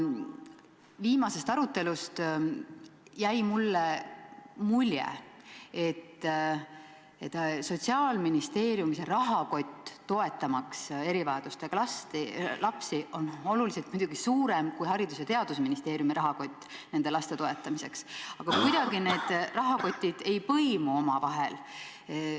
Viimasest arutelust jäi mulle mulje, et Sotsiaalministeeriumi rahakott, toetamaks erivajadustega lapsi, on oluliselt muidugi suurem kui Haridus- ja Teadusministeeriumi rahakott nende laste toetamiseks, aga kuidagi need rahakotid ei põimu omavahel.